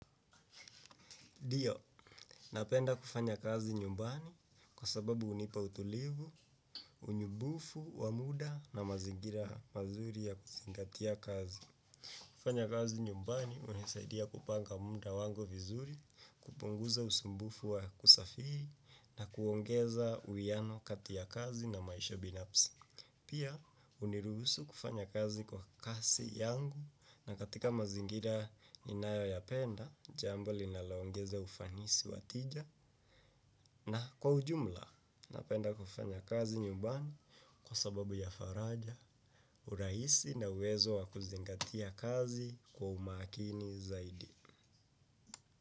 Dio, napenda kufanya kazi nyumbani kwa sababu unipa utulivu, unibufu, wamuda na mazingira mazuri ya kuzingatia kazi. Kufanya kazi nyumbani unisaidia kupanga muda wangu vizuri, kupunguza usumbufu wa kusafiri na kuongeza uiano kati ya kazi na maisha binapsi. Pia, huniruhusu kufanya kazi kwa kasi yangu na katika mazingira ninayoyapenda, jambo linaloongeza ufanisi wa tija, na kwa ujumla, napenda kufanya kazi nyumbani kwa sababu ya faraja, urahisi na uwezo wa kuzingatia kazi kwa umakini.